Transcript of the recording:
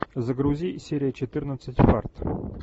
загрузи серия четырнадцать фарт